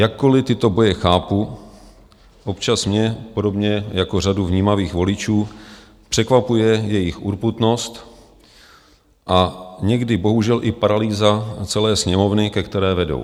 Jakkoli tyto boje chápu, občas mě podobně jako řadu vnímavých voličů překvapuje jejich urputnost, a někdy bohužel i paralýza celé Sněmovny, ke které vedou.